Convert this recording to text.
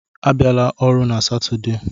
Abịala ọrụ na Satọde: